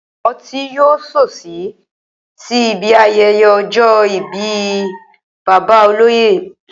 O̩tí yóò s̩òs̩ì sí ibi aye̩ye̩ o̩jò̩ ìbí bàbá olóyè